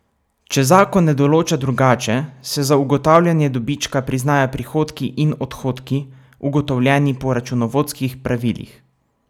Če zakon ne določa drugače, se za ugotavljanje dobička priznajo prihodki in odhodki, ugotovljeni po računovodskih pravilih.